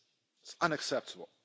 It's unacceptable.